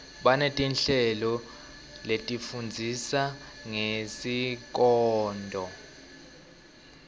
baneti nhleloletifundzisa ngesikoto